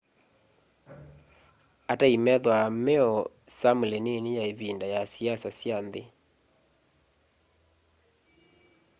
atai methwaa meo samli nini ya ivinda ya siasa sya nthi